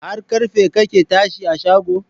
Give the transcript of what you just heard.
Har karfe kake tashi a shago?.